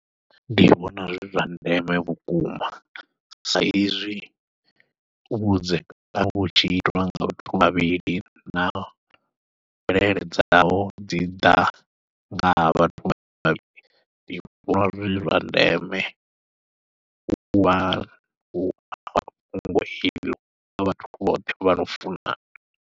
Ndi vhona zwi zwa ndeme vhukuma, sa izwi u vhudzekani vhutshi itiwa nga vhathu vhavhili na mvelele dzavho dzi ḓa nga ha vhathu vhavhili ndi vhona zwi zwa ndeme kha vhathu vhoṱhe vhano funana.